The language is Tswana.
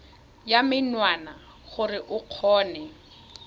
ya menwana gore o kgone